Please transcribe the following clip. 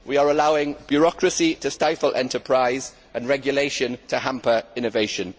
We are allowing bureaucracy to stifle enterprise and regulation to hamper innovation.